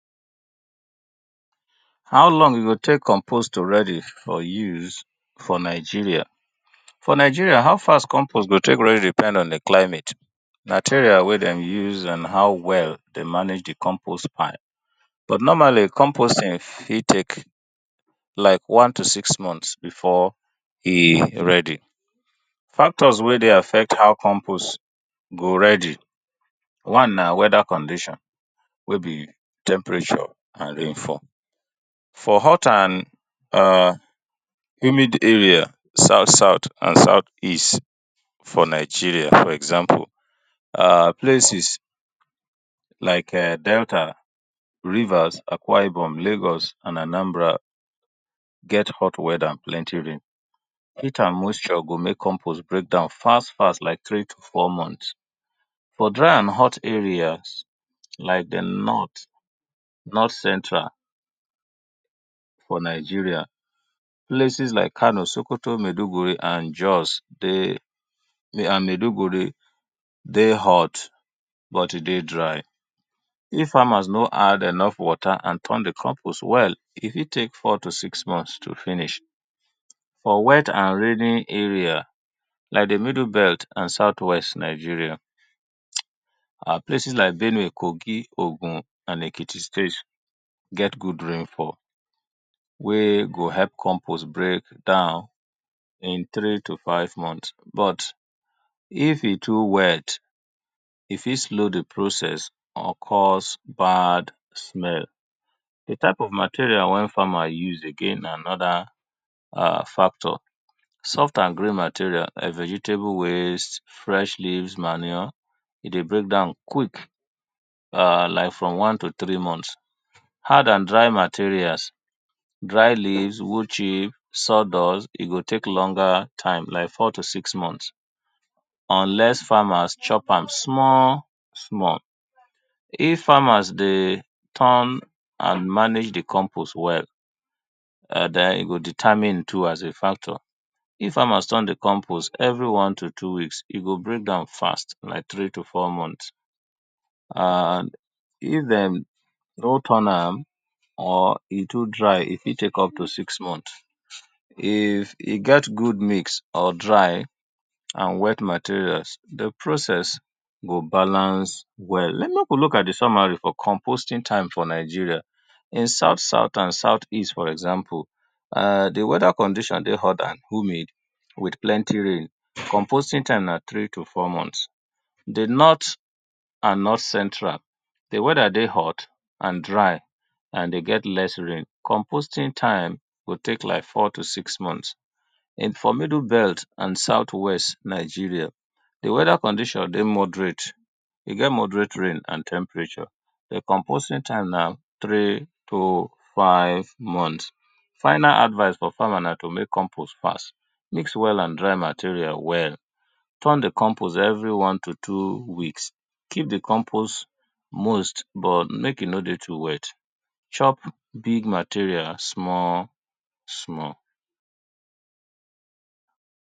How long e go take compost to ready for use for Nigeria, for Nigeria how fast compost go ta ke ready depends on di climate, material wen dem use and how well dem manage di compost pass. But normally compost ing fit take like one to six months before e ready, factors wey dey affect how compost go ready. One na weather condition wey be temperature and rainfall, for hot and humid area [urn] south south and south east for Nigeria places like Delta, Akwa Ibom, Rivers, Lagos and Anambra get hot weather and plenty rain, heat and moisture go make compost breakdown fast fast like three to four months for dry area like di north, north central for Nigeria places like Kano, Sokoto, Maduguri and Jos and Maduguri dey hot but dry if farmers no add enough water and turn di compost well e fit take four to six months to finish, for hot and wet areas like di middle belt and south west Nigeria places like Benue, Ogun, Kogi and Ekiti state get good rain fall wey go make compost breakdown in three to five months but if e too wet e fit slow di process or cause bad smell. Di type of material wey farmer use again na another factor, soft and green material vegetable waste, green leaves manure e dey break down quick like from one to three months, hard and dry material dry leaves, hughes, sawdust e go take longer time like four to six months unless farmers chop am small small if farmers dey turn and manage dii compost well den e go determine too as di factor, di farmer turn di compost every one to two weeks, e go break down fast like three to four months, and if dem no turn am or e too dry e fit take up tp six moneths, e get good mix or dry and wet materials di process go balance well, make we look at di summary for compost ing type for Nigeria in south south and south east fro example, di weather condition dey hotter, humid with plenty rain compost ing time na three to four months, di north central di weather dry and hot with less rain, compost ing time go take like four to six months. For middle belt and south west for Nigeria di weather condition dey moderate e get moderate rain and di temperature di compost ing time na three to five months. Final advice for farmer na to make compost fast, mix wet and dry materials well, turn di compost every one to two weeks, keep di compost moist but make e no dey too wet, chop big material small small.